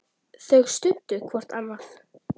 Gunnar greip penna.